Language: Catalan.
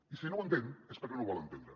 i si no ho entén és perquè no ho vol entendre